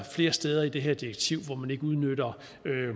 flere steder i det her direktiv hvor man ikke udnytter